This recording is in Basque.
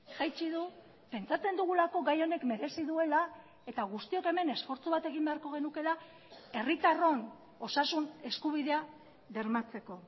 jaitsi du pentsatzen dugulako gai honek merezi duela eta guztiok hemen esfortzu bat egin beharko genukeela herritarron osasun eskubidea bermatzeko